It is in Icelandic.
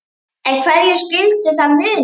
En hverju skyldi það muna?